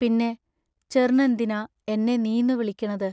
പിന്നെ ചെറ്നെന്തിനാ എന്നെ നീന്നു വിളിക്കണത്?